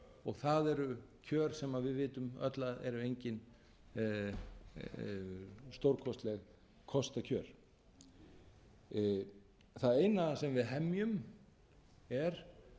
og það eru kjör sem við vitum öll að eru engin stórkostleg kostakjör það eina sem við hemjum er